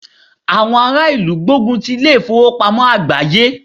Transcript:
Àwọn ará ìlú ń gbógun ti ilé ìfowópamọ́ àgbááyé